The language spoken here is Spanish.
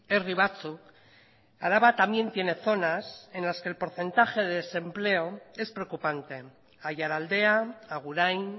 herri batzuk araba también tiene zonas en las que el porcentaje de desempleo es preocupante aiaraldea agurain